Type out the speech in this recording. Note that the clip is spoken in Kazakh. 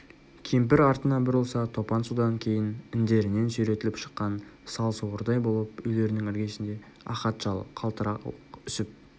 кемпір артына бұрылса топан судан кейін індерінен сүйретіліп шыққан сал суырдай болып үйлерінің іргесінде ахат шал қалтырауық үсіп